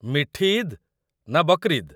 ମିଠି ଇଦ୍‌' ନା 'ବକ୍‌ରିଦ୍‌'?